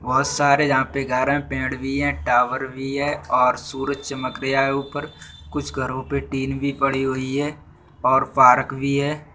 बोहोत सारे यहाँ पे घर है पेड़ भी है टावर भी है और सूरज चमक रिया है ऊपर कुछ घरों पर टिन भी पड़ी हुई है और पारक भी है।